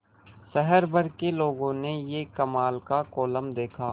शहर भर के लोगों ने यह कमाल का कोलम देखा